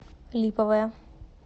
липовое